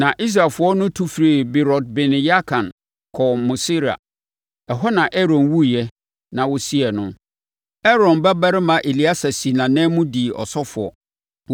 Na Israelfoɔ tu firii Beerot-Bene-Yaakan kɔɔ Mosera. Ɛhɔ na Aaron wuiɛ na wɔsiee no. Aaron babarima Eleasa sii nʼanan mu, dii ɔsɔfoɔ.